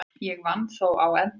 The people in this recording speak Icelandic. Ég vann þó á endanum.